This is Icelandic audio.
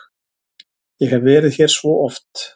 Ég hef verið hér svo oft.